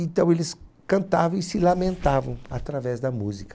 Então eles cantavam e se lamentavam através da música.